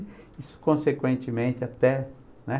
E consequentemente até, né?